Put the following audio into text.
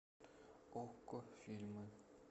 окко фильмы